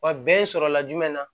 Wa bɛn sɔrɔla jumɛn na